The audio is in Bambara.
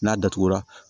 N'a datugura